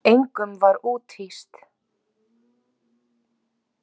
Engum var úthýst.